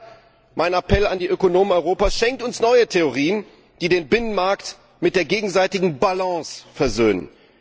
Daher mein Appell an die Ökonomen Europas Schenkt uns neue Theorien, die den Binnenmarkt mit der gegenseitigen Balance versöhnen!